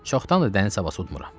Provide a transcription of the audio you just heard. Çoxdandır dəniz havası udmuram.